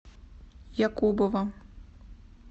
якубова